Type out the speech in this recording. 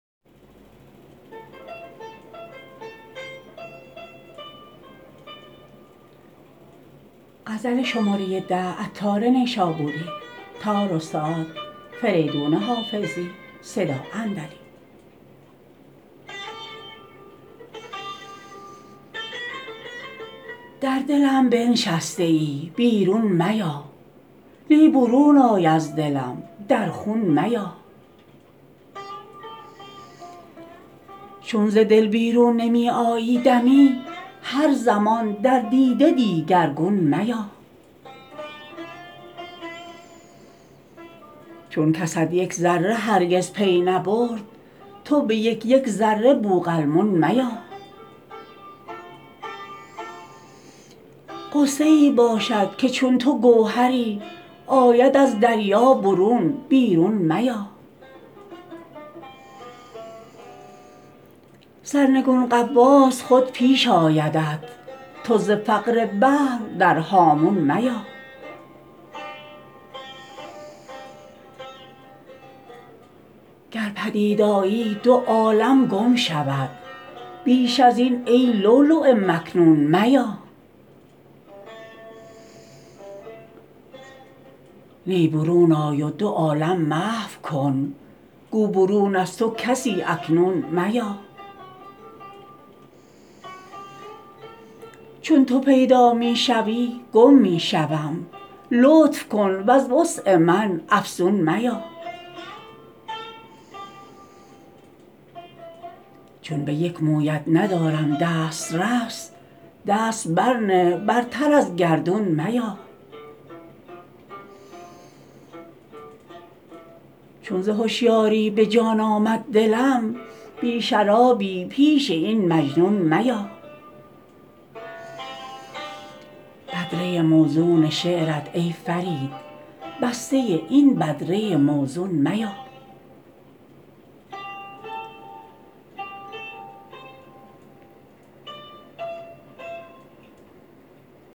در دلم بنشسته ای بیرون میا نی برون آی از دلم در خون میا چون ز دل بیرون نمی آیی دمی هر زمان در دیده دیگرگون میا چون کست یک ذره هرگز پی نبرد تو به یک یک ذره بوقلمون میا غصه ای باشد که چون تو گوهری آید از دریا برون بیرون میا سرنگون غواص خود پیش آیدت تو ز فقر بحر در هامون میا گر پدید آیی دو عالم گم شود بیش از این ای لولو مکنون میا نی برون آی و دو عالم محو کن گو برون از تو کسی اکنون میا چون تو پیدا می شوی گم می شوم لطف کن وز وسع من افزون میا چون به یک مویت ندارم دست رس دست بر نه برتر از گردون میا چون ز هشیاری به جان آمد دلم بی شرابی پیش این مجنون میا بدره موزون شعرت ای فرید بسته این بدره موزون میا